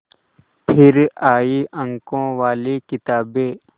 फिर आई अंकों वाली किताबें